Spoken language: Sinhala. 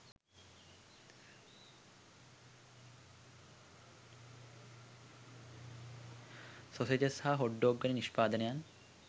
සොසේජස් සහ හොට් ඩොග් වැනි නිෂ්පාදනයන්